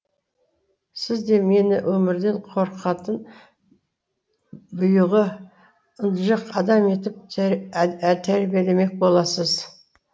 сіз де мені өмірден қорқатын бұйығы ынжық адам етіп тәрбиелемек боласыз